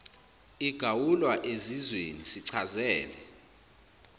igawulwa ezizweni sichazele